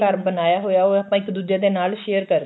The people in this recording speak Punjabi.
ਘਰ ਬਣਾਇਆ ਹੋਇਆ ਉਹ ਆਪਾਂ ਇੱਕ ਦੁੱਜੇ ਦੇ ਨਾਲ share ਕਰਦੇ ਆ